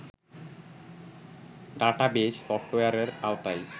database সফটওয়্যারের আওতায়